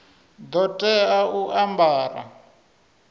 ḓo tea u a ambara